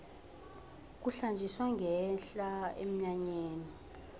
kuhlanjiswa ngenhla emnyanyeni